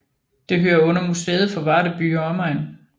Det hører under Museet for Varde By og Omegn